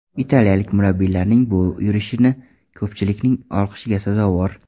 Italiyalik murabbiylarning bu yurishi ko‘pchilikning olqishiga sazovor.